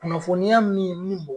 Kunnafoniya min min bɔ